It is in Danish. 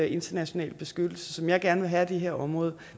internationale beskyttelse som jeg gerne vil have af det her område